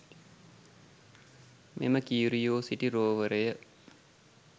මෙම කියුරියෝසිටි රෝවරය